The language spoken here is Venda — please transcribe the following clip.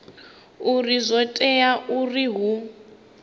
uri zwo tea uri hu